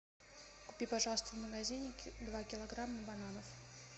купи пожалуйста в магазине два килограмма бананов